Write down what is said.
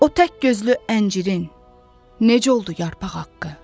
O tək gözlü əncirin necə oldu yarpaq haqqı?